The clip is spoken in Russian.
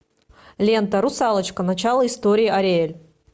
лента русалочка начало истории ариэль